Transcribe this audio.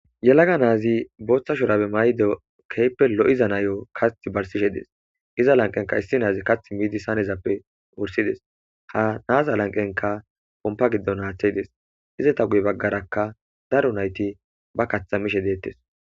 Yelaga naazi booththa shurabe maydo keehippe lo'iza nayo kaththi barsishe dees. Iza lanqenka issi naazi kaththi miidi sanezappe wursides. Ha naaza lanqenka pompa giddon haaththe des. Izeta guye baggarakka daro nayti ba kaththa mishe deettes.